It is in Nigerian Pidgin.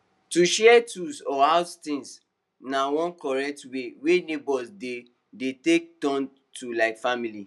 to share tools or house things na one correct way wey neighbors dey dey tey turn to like family